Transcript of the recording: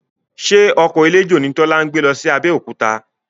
Ṣe ọkọ̀ eléjò ni Tọ́lá gbé lọ sí Abẹ́òkúta?